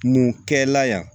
Mun kɛ la yan